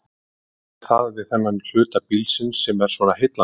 Hvað er það við þennan hluta bílsins sem er svona heillandi?